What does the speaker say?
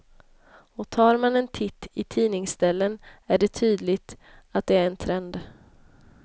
Och tar man en titt i tidningsställen är det tydligt att det är en trend.